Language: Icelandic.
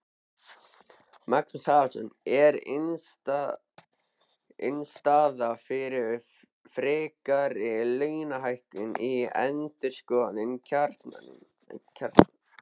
Magnús Halldórsson: Er innstaða fyrir frekari launahækkunum í endurskoðun kjarasamninga?